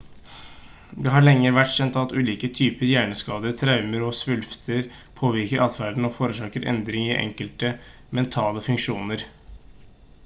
det har lenge vært kjent at ulike typer hjerneskader traumer og svulster påvirker adferden og forårsaker endringer i enkelte mentale funksjoner